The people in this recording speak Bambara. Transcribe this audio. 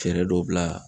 Fɛɛrɛ dɔ bila